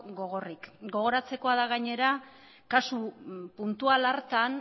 gogorrik gogoratzekoa da gainera kasu puntual hartan